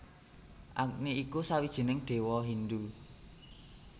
Agni iku sawijining Déwa Hindu